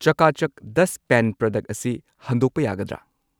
ꯆꯀꯥ ꯆꯛ ꯗꯁꯠ pen product ꯑꯁꯤ ꯍꯟꯗꯣꯛꯄ ꯌꯥꯒꯗ꯭ꯔꯥ?꯫